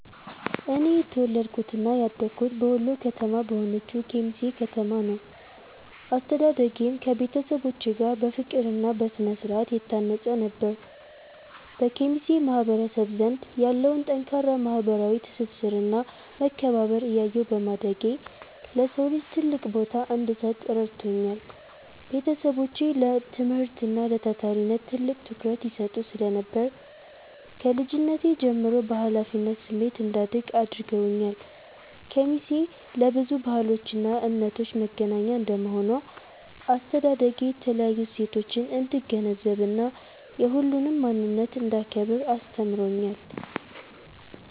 እኔ የተወለድኩትና ያደግኩት በወሎ ከተማ በሆነችው ኬሚሴ ከተማ ነው። አስተዳደጌም ከቤተሰቦቼ ጋር በፍቅርና በስነ-ስርዓት የታነጸ ነበር። በኬሚሴ ማህበረሰብ ዘንድ ያለውን ጠንካራ ማህበራዊ ትስስርና መከባበር እያየሁ በማደጌ፣ ለሰው ልጅ ትልቅ ቦታ እንድሰጥ ረድቶኛል። ቤተሰቦቼ ለትምህርትና ለታታሪነት ትልቅ ትኩረት ይሰጡ ስለነበር፣ ከልጅነቴ ጀምሮ በኃላፊነት ስሜት እንዳድግ አድርገውኛል። ኬሚሴ ለብዙ ባህሎችና እምነቶች መገናኛ እንደመሆኗ፣ አስተዳደጌ የተለያዩ እሴቶችን እንድገነዘብና የሁሉንም ማንነት እንዳከብር አስተምሮኛል።